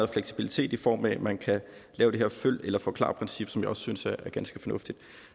fleksibilitet i form af at man kan lave det her følg eller forklar princip som jeg også synes er ganske fornuftigt